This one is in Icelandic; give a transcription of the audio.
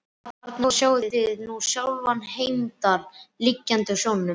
Og þarna sjáið þið nú sjálfan Heimdall liggjandi á sjónum.